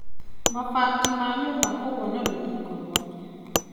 Mabati ma nyũmba kũgũa na rũthingo ciake